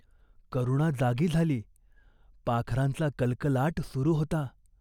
करुणा जागी झाली. पाखरांचा कलकलाट सुरू होता.